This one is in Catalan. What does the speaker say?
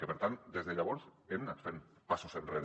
i per tant des de llavors hem anat fent passos enrere